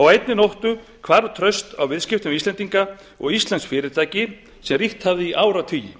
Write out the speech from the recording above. á einni nóttu hvarf traust á viðskiptum við íslendinga og íslensk fyrirtæki sem ríkt hafði í áratugi